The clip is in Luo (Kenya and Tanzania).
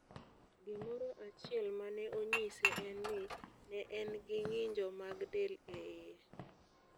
Gimoro achiel ma ne onyise en ni, ne en gi ng'injo mag del e iye.